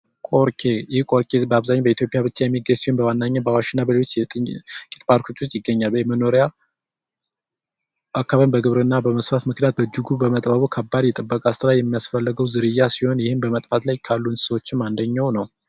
ቆርኬ በአብዛኛው በኢትዮጵያ ብቻ የሚገኙ ሲሆን አብዛኛው ጊዜ በአዋጅ ብሔራዊ ፓርክ ውስጥ ይገኛል አካባቢ በግብርና በመስፋቱ ምክንያት በእጅጉ በመጥበቡ ከባድ ጥበቃ የሚያስፈልገው ዝርያ ነው ይህም በመጥፋል ላይ ካሉ እንስሶች አንደኛው ነው።